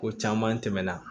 Ko caman tɛmɛna